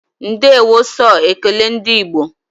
Ndeewo so ekele ndị igbo